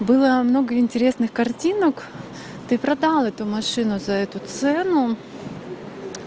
было много интересных картинок ты продал эту машину за эту цену